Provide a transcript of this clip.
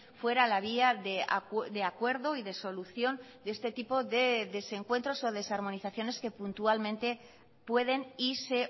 fuera a la vía de acuerdo y de solución de este tipo de desencuentros o desarmonizaciones que puntualmente pueden y se